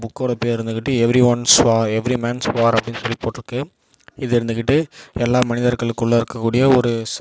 புக்கோட பேர் வந்துகிட்டு எவ்ரிஒன்ஸ்வா எவ்ரிமேன்ஸ் வார் அப்படின்னு சொல்லி போட்டுருக்கு. இது இருந்துகிட்டு எல்லா மனிதர்களுக்குள்ள இருக்கக்கூடிய ஒரு ச.